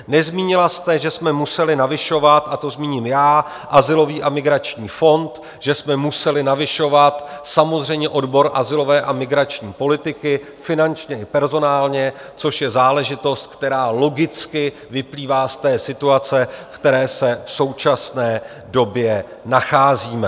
Nezmínila jste, že jsme museli navyšovat, a to zmíním já, azylový a migrační fond, že jsme museli navyšovat samozřejmě odbor azylové a migrační politiky, finančně i personálně, což je záležitost, která logicky vyplývá z té situace, v které se v současné době nacházíme.